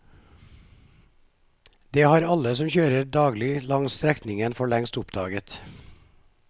Det har alle som kjører daglig langs strekningen for lengst oppdaget.